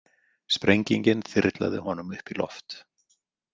Sprengingin þyrlaði honum upp í loft.